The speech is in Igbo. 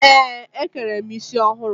Ee, e kere m isi ọhụrụ.